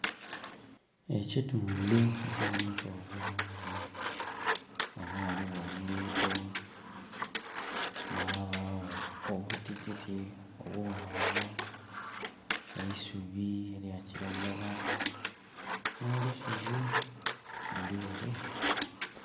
Ekitundhu ekiboneka obulungi, ghano ghaligho olugudho, ghabagho obutititi obughanvu, eisubi elya kilagala no lusozi luli ere.